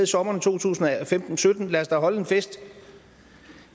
sommeren to tusind og sytten lad os da holde en fest